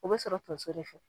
O bɛ sɔrɔ tonso de fɛ.